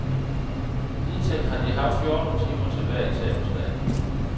Hidtil har de haft fjorten timer til hver eksamensdag.